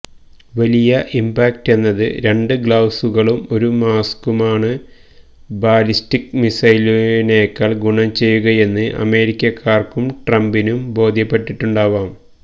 വലിയ ഇംപാക്ട് എന്നത് രണ്ട് ഗ്ലൌസുകളും ഒരു മാസ്കുമാണ് ബാലിസ്റ്റിക് മിസൈലിനെക്കാള് ഗുണം ചെയ്യുകയെന്ന് അമേരിക്കക്കാര്ക്കും ട്രംപിനും ബോധ്യപ്പെട്ടിട്ടുണ്ടാവാം